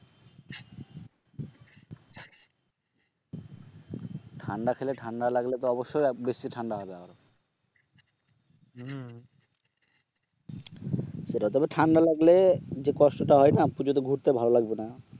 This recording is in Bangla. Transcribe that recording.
ঠান্ডা খেলে ঠান্ডা লাগলে তো অবশ্য বেশি ঠান্ডা লাগবে আরো হম সেটাই তবে ঠান্ডা লাগলে যে কষ্টটা হয়না পূজোতে ঘুরতে ভালো লাগবে না